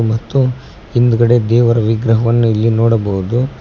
ಮತ್ತು ಹಿಂದುಗಡೆ ದೇವರ ವಿಗ್ರಹವನ್ನು ಇಲ್ಲಿ ನೋಡಬಹುದು.